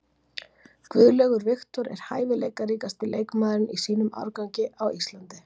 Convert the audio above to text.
Guðlaugur Victor er hæfileikaríkasti leikmaðurinn í sínum árgangi á Íslandi.